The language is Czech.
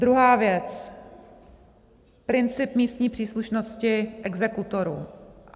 Druhá věc: princip místní příslušnosti exekutorů.